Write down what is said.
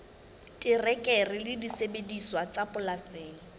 terekere le disebediswa tsa polasing